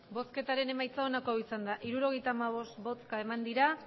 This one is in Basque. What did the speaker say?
emandako botoak hirurogeita hamabost bai